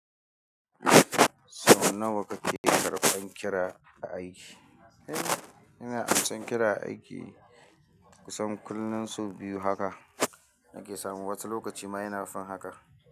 Sau nawa kake karɓan kira a aiki? Eh, ina amsan kira a aiki kusan kullum sau biyu haka nake samu, wasu lokaci ma yana fin haka.